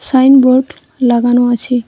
Signboard লাগানো আছে।